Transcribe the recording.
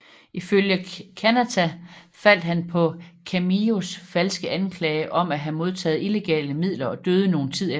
Ifølge Kanata faldt han på Kamijos falske anklager om at have modtage illegale midler og døde nogen tid efter